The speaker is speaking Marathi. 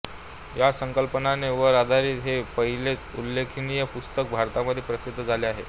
ह्या संकलपने वर आधारित हे पहिलेच उल्लेहखनीय पुस्तक भारतामध्ये प्रसिद्ध झाले आहे